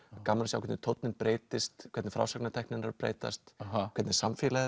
gaman að sjá hvernig tónninn breytist hvernig frásagnartæknin er að breytast hvernig samfélagið